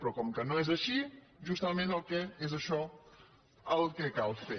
però com que no és així justament és això el que cal fer